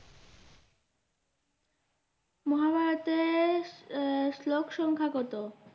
মহাভারতের আহ শ্লোক সংখ্যা কত?